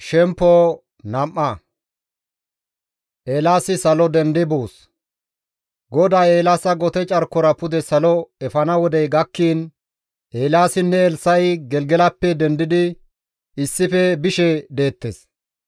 GODAY Eelaasa gote carkora pude salo efana wodey gakkiin Eelaasinne Elssa7i Gelgelappe dendidi issife bishe deettes.